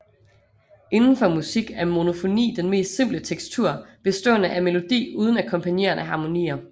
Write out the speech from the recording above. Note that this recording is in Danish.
Inden for musik er monofoni den mest simple tekstur bestående af melodi uden akkompagnerende harmonier